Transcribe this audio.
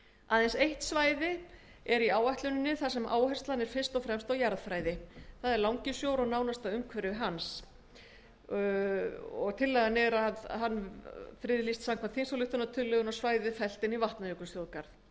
aðeins eitt svæði er á áætluninni sem er fyrst og fremst friðað vegna jarðfræði langisjór og nánasta umhverfi hans verða friðlýst samkvæmt þingsályktunartillögunni og svæðið fellt inn í vatnajökulsþjóðgarð